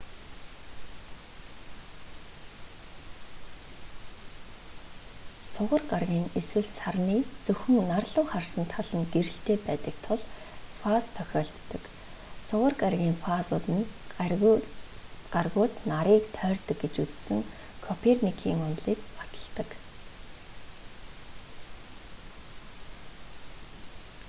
сугар гарагийн эсвэл сарны зөвхөн нар луу харсан тал нь гэрэлтэй байдаг тул фаз тохиолддог. сугар гарагийн фазууд нь гаригууд нарыг тойрдог гэж үзсэн коперникийн онолыг баталдаг